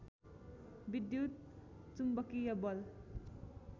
विद्युत चुम्बकीय बल